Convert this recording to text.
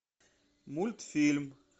мультфильм